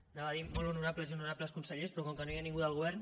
anava a dir molt honorables i honorables consellers però com que no hi ha ningú del govern